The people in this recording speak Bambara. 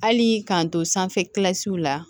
Hali k'an to sanfɛ la